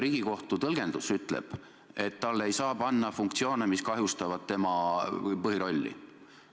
Riigikohtu tõlgendus ütleb, et Riigikontrollile ei saa panna funktsioone, mis kahjustavad tema põhirolli täitmist.